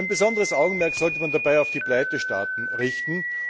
Besonderes Augenmerk sollte man dabei auf die Pleitestaaten richten.